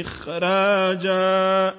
إِخْرَاجًا